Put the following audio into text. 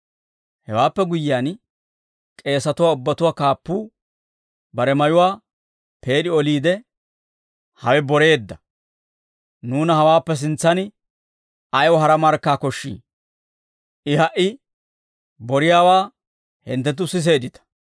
Hewaappe guyyiyaan, k'eesatuwaa ubbatuwaa kaappuu bare mayuwaa peed'i oliide, «Hawe boreedda; nuuna hawaappe sintsan ayaw hara markkaa koshshii? I ha"i boriyaawaa hinttenttu siseeddita.